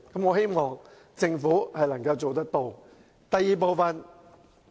我希望政府能夠做到。